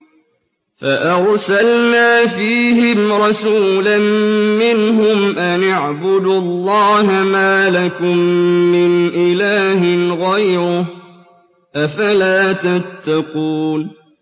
فَأَرْسَلْنَا فِيهِمْ رَسُولًا مِّنْهُمْ أَنِ اعْبُدُوا اللَّهَ مَا لَكُم مِّنْ إِلَٰهٍ غَيْرُهُ ۖ أَفَلَا تَتَّقُونَ